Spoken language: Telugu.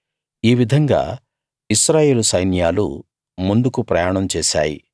ఈ విధంగా ఇశ్రాయేలు సైన్యాలు ముందుకు ప్రయాణం చేసాయి